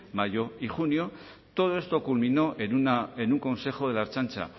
mayo y junio todo esto culminó en un consejo de la ertzaintza